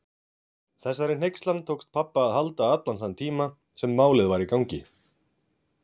Þessari hneykslan tókst pabba að halda allan þann tíma sem Málið var í gangi.